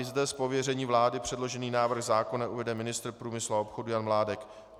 I zde z pověření vlády předložený návrh zákona uvede ministr průmyslu a obchodu Jan Mládek.